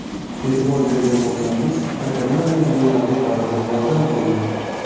E’tibor bergan bo‘lsangiz, hakamlar mezbonlarga baribir yordam qildi.